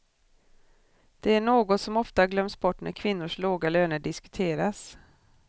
Det är något som ofta glöms bort när kvinnors låga löner diskuteras.